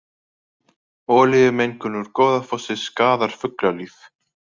Olíumengun úr Goðafossi skaðar fuglalíf